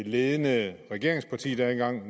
ledende regeringsparti